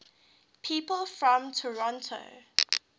people from toronto